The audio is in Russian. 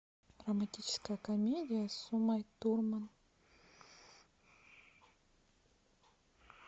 романтическая комедия с умой турман